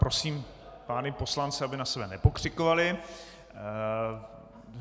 Prosím pány poslance, aby na sebe nepokřikovali.